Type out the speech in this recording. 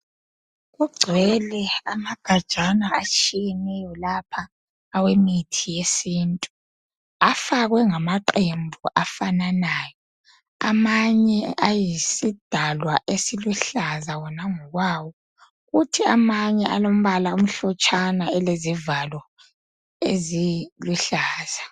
Kugcwele amagajana atshiyeneyo lapha awemithi yesintu.,Afakwe ngamaqembu afananayo. Amanye ayisidalwa esiluhlaza wona ngokwawo. Kuthi amanye alombala omhlotshana, elezivalo eziluhlaza.